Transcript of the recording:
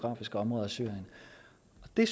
det